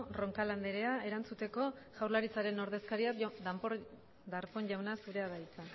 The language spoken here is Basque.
roncal anderea erantzuteko jaurlaritzaren ordezkaria darpón jauna zurea da hitza